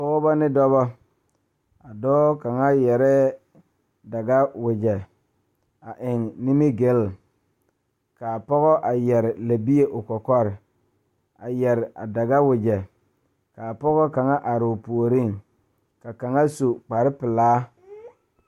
Pɔgeba ne dɔɔba la kaa dɔɔ kaŋa a are a su kpare pelaa kaa Yiri a die dankyini are kaa kolbaare a dɔgle tabol are o puori kaa pɔge kaŋa su kpare pelaa.